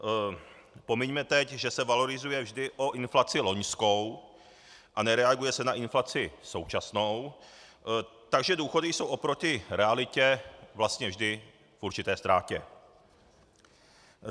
Pomiňme teď, že se valorizuje vždy o inflaci loňskou a nereaguje se na inflaci současnou, takže důchody jsou oproti realitě vlastně vždy v určité ztrátě.